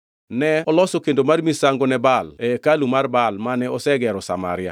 Ne oloso kendo mar misango ne Baal e hekalu mar Baal mane osegero e Samaria